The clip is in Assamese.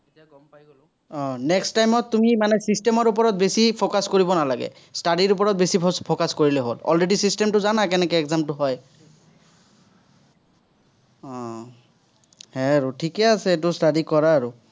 আহ next time ত তুমি মানে system ৰ ওপৰত বেছি focus কৰিব নালাগে। study ৰ ওপৰত বেছি focus কৰিলেই হ'ল। already system টো জনাই কেনেকে exam টো হয় উম সেয়াই আৰু ঠিকেই আছে, এইটো study কৰা আৰু।